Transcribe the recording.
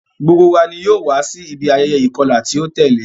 Gbogbo wa ni yoo wa si ibi ayẹyẹ ikọla ti o tẹle.